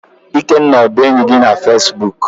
Ikenna ọ bụ enyi gị na Facebook?